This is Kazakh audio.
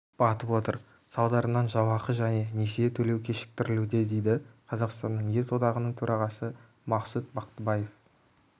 батып отыр салдарынан жалақы және несие төлеу кешіктірілуде дейді қазақстанның ет одағының төрағасы мақсұт бақтыбаев